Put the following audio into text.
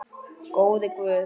Góði Guð.